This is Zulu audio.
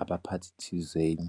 abaphathi thizeni.